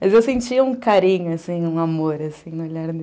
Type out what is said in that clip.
Mas eu sentia um carinho, assim, um amor, assim,